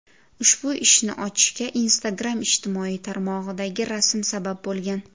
Ushbu ishni ochishga Instagram ijtimoiy tarmog‘idagi rasm sabab bo‘lgan.